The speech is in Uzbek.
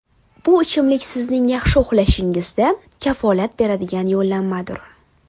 Bu ichimlik sizning yaxshi uxlashingizda kafolat beradigan yo‘llanmadir.